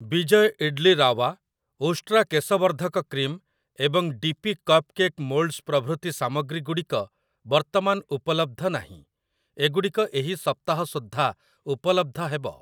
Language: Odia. ବିଜୟ ଇଡ୍‌ଲି ରାୱା, ଉଷ୍ଟ୍ରା କେଶ ବର୍ଦ୍ଧକ କ୍ରିମ୍ ଏବଂ ଡି ପି କପ୍‌କେକ୍‌ ମୋଲ୍ଡସ୍ ପ୍ରଭୃତି ସାମଗ୍ରୀ ଗୁଡ଼ିକ ବର୍ତ୍ତମାନ ଉପଲବ୍ଧ ନାହିଁ, ଏଗୁଡ଼ିକ ଏହି ସପ୍ତାହ ସୁଦ୍ଧା ଉପଲବ୍ଧ ହେବ ।